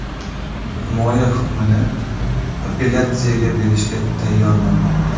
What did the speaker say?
Himoya hukmni apellyatsiyaga berishga tayyorlanmoqda.